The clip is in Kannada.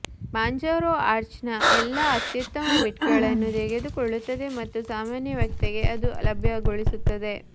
ಮಾಂಜಾರೊ ಆರ್ಚ್ನ ಎಲ್ಲಾ ಅತ್ಯುತ್ತಮ ಬಿಟ್ಗಳನ್ನು ತೆಗೆದುಕೊಳ್ಳುತ್ತದೆ ಮತ್ತು ಸಾಮಾನ್ಯ ವ್ಯಕ್ತಿಗೆ ಅದನ್ನು ಲಭ್ಯಗೊಳಿಸುತ್ತದೆ